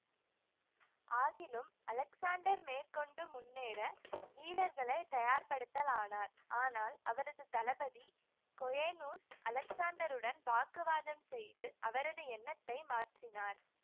ஆகிலும் அலெக்ஸாண்டர் மேற்கொண்டு முன்னேற வீரர்களை தயார் படுத்தலானார் ஆனால் அவரது தளபதி கொயேநூஸ் அலெக்ஸாண்டருடன் வாக்குவாதம் செய்து அவரது எண்ணத்தை மாற்றினார்